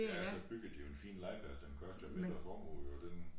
Ja så byggede de jo en fin legeplds den kostede en mindre formue jo den